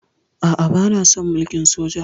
A'a, bana son mulkin soja.